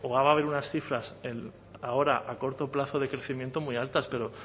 o va a haber unas cifras ahora a corto plazo de crecimiento muy altas pero